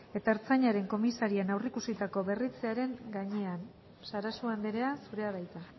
eta ertzaintzaren komisarian aurreikusitako berritzearen gainean sarasua andrea zurea da hitza